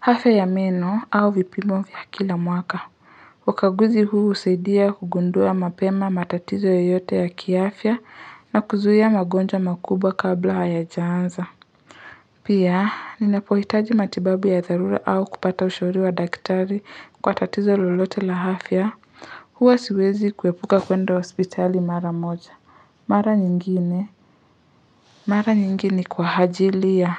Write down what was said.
hafya ya meno au vipimo vya kila mwaka. Ukaguzi huu husaidia kugundua mapema matatizo yoyote ya kiafya na kuzuia magonjwa makubwa kabla hayajaanza. Pia, ninapohitaji matibabu ya dharura au kupata ushauri wa daktari kwa tatizo lolote la afya. Huwa siwezi kuepuka kwenda hospitali mara moja. Mara nyingine? Mara nyingine kwa hajili ya